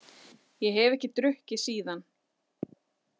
Ég hef ekki drukkið síðan.